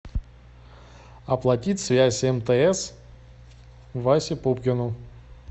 оплатить связь мтс васе пупкину